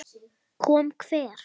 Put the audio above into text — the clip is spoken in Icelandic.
Kom hver?